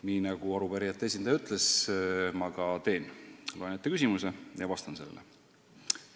Nii, nagu arupärijate esindaja palus, ma ka teen: loen ette küsimuse ja vastan sellele.